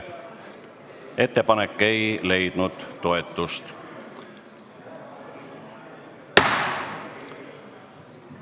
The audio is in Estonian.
Ettepanek ei leidnud toetust.